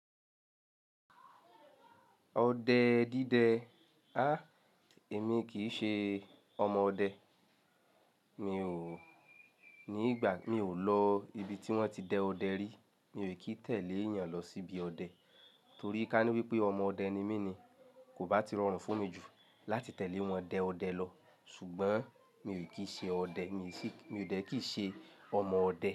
Ọdẹ dídẹ. Èmi kì í ṣe ọmọ ọdẹ. Mi ò, ní ìgbà mi ò lọ ibi tí wọ́n ti dẹ ọdẹ rí. Mi ò ì kí tẹ̀lé èèyàn lọ síbi ọdẹ, torí ká ní wípé ọmọ ọdẹ ni mí ni kò bá ti rọrùn fún mi jù láti tẹ̀lé wọn dẹ ọdẹ lọ. Ṣùgbọ́n mi ò kí ṣe ọdẹ, mi sì, mi ò dẹ kì í ṣe ọmọ ọdẹ.